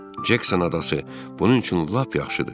Cekson adası bunun üçün lap yaxşıdır.